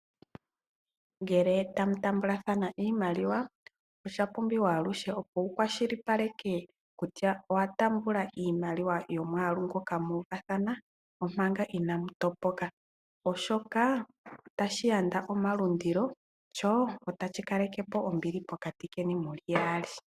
Ngele tamu taambathana iimaliwa, osha pumbiwa aluhe opo wu kwashilipaleke kutya owa taamba iimaliwa yomwaalu ngoka mu uvathana, omanga inaamu topoka, oshoka otashi yanda omalundilo, sho otashi kalekepo ombili pokati keni muli yaali.